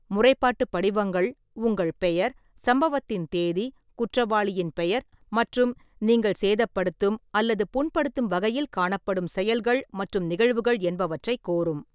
முறைப்பாட்டுப் படிவங்கள் உங்கள் பெயர், சம்பவத்தின் தேதி , குற்றவாளியின் பெயர், மற்றும் நீங்கள் சேதப்படுத்தும் அல்லது புண்படுத்தும் வகையில் காணப்படும் செயல்கள் மற்றும் நிகழ்வுகள் என்பவற்றைக் கோரும்.